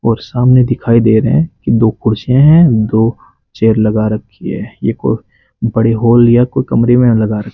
और सामने दिखाई दे रहे हैं दो कुर्सियां हैं दो चेयर लगा रखी है ये कोई बड़े हॉल या कोई कमरे में लगा र --